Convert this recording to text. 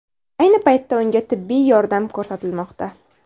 Ayni paytda unga tibbiy yordam ko‘rsatilmoqda.